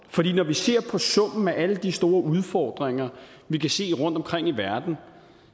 fordi når vi ser på summen af alle de store udfordringer vi kan se rundtomkring i verden